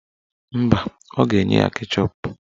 Mba, ọ ga-enye ya keshọp.